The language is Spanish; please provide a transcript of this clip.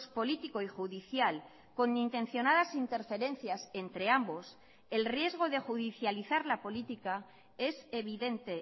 político y judicial con intencionadas interferencias entre ambos el riesgo de judicializar la política es evidente